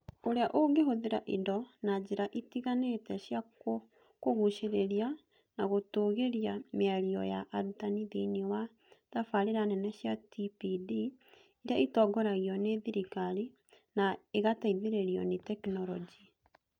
Ũrĩa ũngĩhũthĩra indo na njĩra itiganĩte cia kũgucĩrĩria na gũtũũgĩria mĩario ya arutani thĩinĩ wa tabarĩra nene cia TPD iria itongoragio nĩ thirikari na igateithĩrĩrio nĩ tekinolonjĩ.